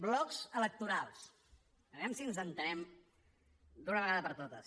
blocs electorals a veure si ens entenem d’una vegada per totes